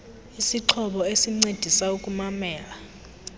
isixhobo esincedisa ukumamela